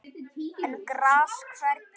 en gras hvergi